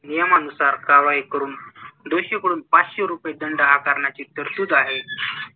नियमानुसार कारवाई करून दोषींकडून पाचशे रुपये दंड आकारण्याची तरतूद आहे.